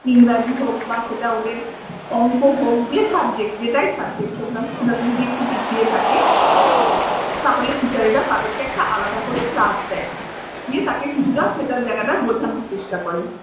ইংরেজি হোক বা সেটা ওদের অংক হোক যে subject যেটাই subject হোক না কেন সেটাতে যদি একটু পিছিয়ে থাকে তাহলে teacher এরা তাদেরকে একটা আলাদা করে task দেয়। দিয়ে তাকে সেই জায়গাটা বোঝানোর চেষ্টা করে।